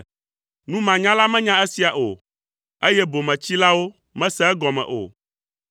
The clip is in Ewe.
Numanyala menya esia o, eye bometsilawo mese egɔme o,